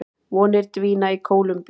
Vonir dvína í Kólumbíu